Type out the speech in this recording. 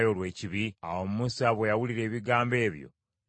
Awo Musa bwe yawulira ebigambo ebyo n’amatira.